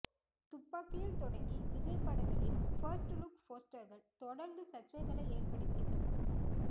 துப்பாக்கியில் தொடங்கி விஜய் படங்களின் first look போஸ்டர்கள் தொடர்ந்து சர்ச்சைகளை ஏற்படுத்திய தொகுப்பு